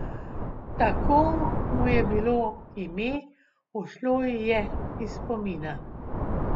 Tako mu je bilo ime, ušlo ji je iz spomina.